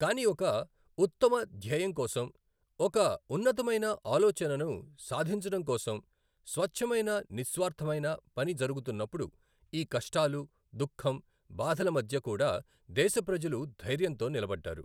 కానీ ఒక ఉత్తమ ధ్యేయం కోసం, ఒక్క ఉన్నతమైన ఆలోచనను సాధించడం కోసం, స్వచ్ఛమైన నిస్వార్ధమైన పని జరుగుతున్నప్పుడు, ఈ కష్టాలు, దుఖం, బాధల మధ్య కూడా దేశ ప్రజలు ధైర్యంతో నిలబడ్డారు.